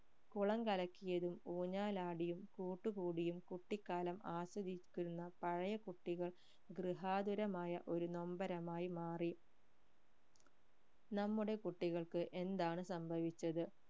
കുളം കലക്കിയതും ഊഞ്ഞാലാടിയും കൂട്ടു കൂടിയും കുട്ടിക്കാലം ആസ്വദിക്കുന്ന പഴയ കുട്ടികൾ ഗൃഹാതുരമായ ഒരു നൊമ്പരമായി മാറി നമ്മുടെ കുട്ടികൾക്ക് എന്താണ് സംഭവിച്ചത്?